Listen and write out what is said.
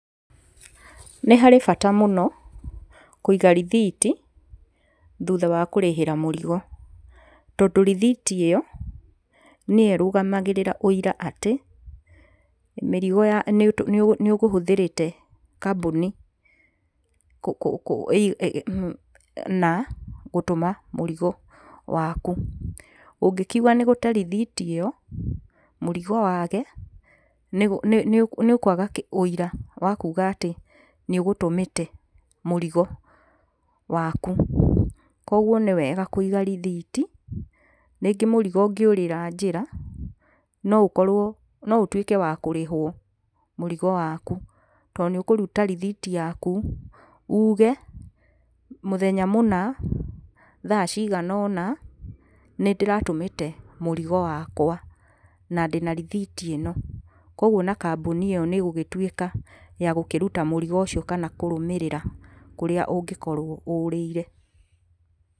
Nĩ harĩ bata mũno, kũiga rithiti thutha wa kũrĩhĩra mũrigo. Tondũ rithiti ĩyo, nĩyo ĩrũgamagĩrĩra ũira atĩ, mĩrigo, nĩ ũkũhũthĩrĩte kambuni, kũ, na gũtũma mũrigo. Ũngĩkĩaga rithiti ĩyo, nĩ kuga, mũrigo waku, nĩ kwaga ũira, atĩ nĩ ũgũtũmĩte mũrigo waku. Kwoguo nĩ wega kũiga rithiti. Rĩngĩ mũrigo ũngĩũrĩra njĩra, no ũkorwo no ũtuĩke kũrĩhwo mũrigo waku, tondũ nĩ ũkũruta rithiti yaku ũge, mũthenya mũna, thaa cigana ũna, nĩndĩratũmĩte mũrigo wakwa, na ndĩna rithiti ĩno, kwoguo ona kambuni ĩyo nĩ ĩgũgĩtuĩka ya kũruta mũrigo ũcio kana kũrũmĩrĩra kũrĩa ũngĩkorwo ũrĩire.